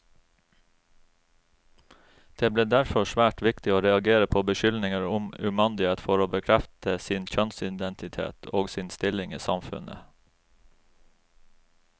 Det ble derfor svært viktig å reagere på beskyldninger om umandighet for å bekrefte sin kjønnsidentitet, og sin stilling i samfunnet.